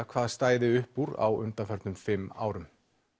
hvað stæði upp úr á undanförnum fimm árum